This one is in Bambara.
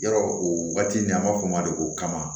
Yɔrɔ o waati ni an b'a fɔ o ma de ko kama